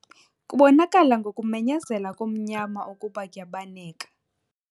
Kubonakala ngokumenyezela komnyama ukuba kuyabaneka.